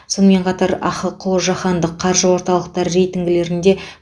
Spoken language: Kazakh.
сонымен қатар ахқо жаһандық қаржы орталықтары рейтингілерінде